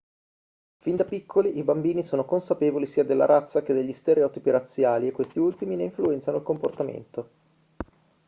fin da piccoli i bambini sono consapevoli sia della razza e che degli stereotipi razziali e questi ultimi ne influenzano il comportamento